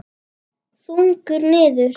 Þungur niður.